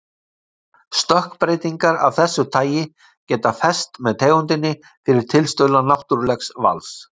Stökkbreytingar af þessu tagi geta fest með tegundinni fyrir tilstuðlan náttúrlegs vals.